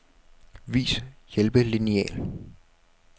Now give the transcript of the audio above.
Vis hjælpelineal.